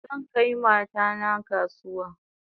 Zan kai mata na kasuwa